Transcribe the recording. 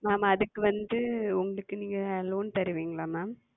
Ma'am அதுக்கு வந்து உங்களுக்கு நீங்க Loan தருவீங்கலளா Ma'am?